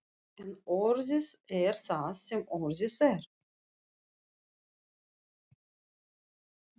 En orðið er það sem orðið er.